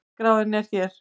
Verðskráin er hér